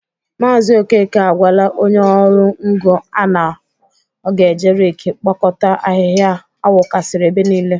Maazi okeke agwala onye ọrụ ngo a na ọ ga-eje reki kpokọta ahịhịa a wukasịrị ebe niile.